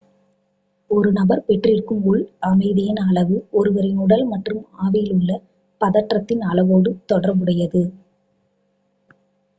ஒரு நபர் பெற்றிருக்கும் உள் அமைதியின் அளவு ஒருவரின் உடல் மற்றும் ஆவியில் உள்ள பதற்றத்தின் அளவோடு தொடர்புடையது